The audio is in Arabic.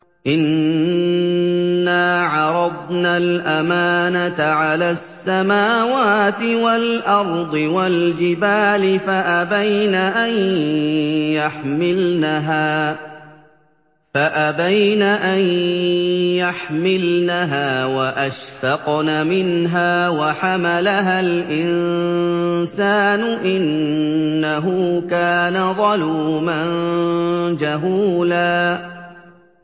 إِنَّا عَرَضْنَا الْأَمَانَةَ عَلَى السَّمَاوَاتِ وَالْأَرْضِ وَالْجِبَالِ فَأَبَيْنَ أَن يَحْمِلْنَهَا وَأَشْفَقْنَ مِنْهَا وَحَمَلَهَا الْإِنسَانُ ۖ إِنَّهُ كَانَ ظَلُومًا جَهُولًا